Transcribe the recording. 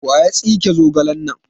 waya tsike zogalen nan?